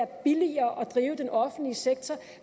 billigere at drive den offentlige sektor